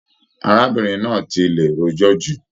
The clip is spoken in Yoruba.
Arábìnrin náà tí lè rojọ jù.